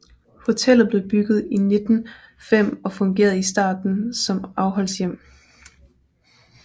Hotellet blev bygget i 1905 og fungerede i starten som afholdshjem